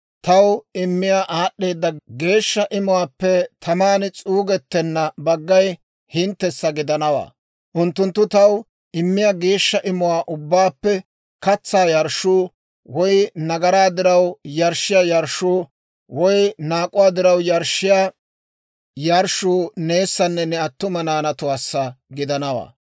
Taw immiyaa aad'd'eeda geeshsha imuwaappe taman s'uugettenna baggay hinttessa gidanawaa: unttunttu taw immiyaa geeshsha imuwaa ubbaappe katsaa yarshshuu, woy nagaraa diraw yarshshiyaa yarshshuu, woy naak'uwaa diraw yarshshiyaa yarshshuu neessanne ne attuma naanatuwaassa gidanawaa.